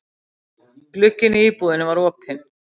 Glugginn á íbúðinni var opinn.